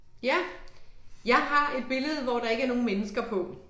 Ja. Jeg har et billede hvor der ikke er nogen mennesker på